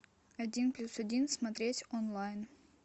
один плюс один смотреть онлайн